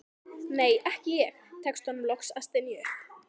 nei, ekki ég, tekst honum loks að stynja upp.